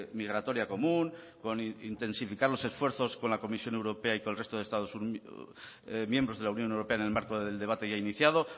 migratoria común con intensificar los esfuerzos con la comisión europea y con el resto de estados miembros de la unión europea en el marco del debate ya iniciado